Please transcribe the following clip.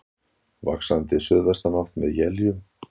Vaxandi suðvestanátt með éljum